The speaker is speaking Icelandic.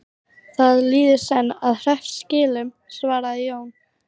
Það líður senn að hreppskilum, svaraði Jón.